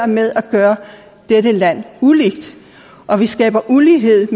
med at gøre dette land ulige og vi skaber ulighed